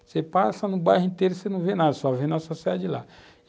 Você passa no bairro inteiro e não vê nada, só vê a nossa sede lá.